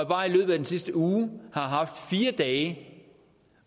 bare i løbet af de sidste uger har haft fire dage